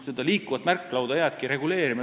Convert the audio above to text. Seda liikuvat märklauda võib aga jäädagi reguleerima.